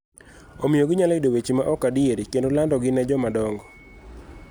omiyo ginyalo yudo weche ma ok adier kendo landogi ne jomadongo